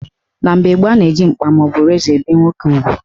Na mgbe gboo, a na-eji mkpa maọbụ razọ ebe nwoke ugwu.